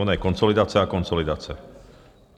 Ona je konsolidace a konsolidace.